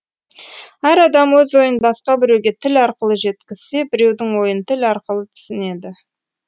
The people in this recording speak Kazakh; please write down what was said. әр адам өз ойын басқа біреуге тіл арқылы жеткізсе біреудің ойын тіл арқылы түсінеді